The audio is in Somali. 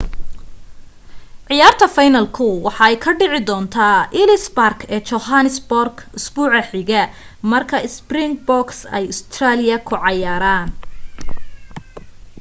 cayaarta fiinalka waxa ay ka dhici doonta ellis park ee johannesburg isbuuca xiga marka springboks ay australia ku cayaaran